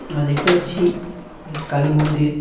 আমরা দেখতে পাচ্ছি এটি কালী মন্দির।